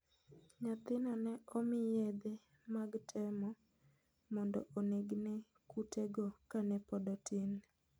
Nyathino ne omi yedhe mag temo mondo onegne kutego kane pod otin